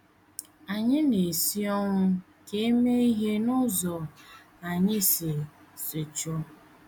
Ànyị na - esi ọnwụ ka e mee ihe n’ụzọ anyị si si chọọ?